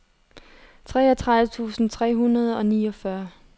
treogtredive tusind tre hundrede og niogfyrre